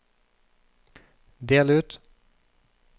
del ut